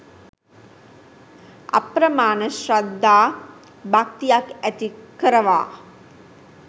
අප්‍රමාණ ශ්‍රද්ධා භක්තියක් ඇති කරවා